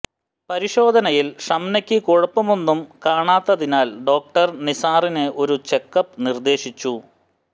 പരിശോധനയിൽ ഷംനക്ക് കുഴപ്പമൊന്നും കാണാത്തതിനാൽ ഡോക്ടർ നിസാറിന് ഒരു ചെക്കപ്പ് നിർദ്ദേശിച്ചു